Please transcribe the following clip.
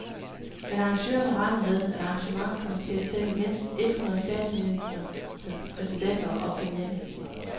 Men arrangørerne regner med, at arrangementet kommer til at tælle mindst et hundrede statsministre, præsidenter og premierministre.